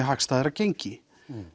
hagstæðara gengi